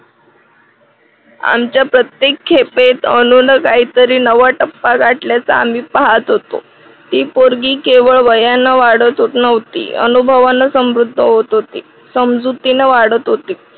आमच्या प्रत्येक खेपेत अनुने काहीतरी नवा टप्पा गाठल्याचा आम्ही पाहत होतो. ती पोरगी केवळ वयाने वाढत नव्हती अनुभवांन समृद्ध होत होती. समजुतीने वाढत होती.